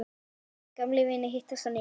Gamlir vinir hittast á ný.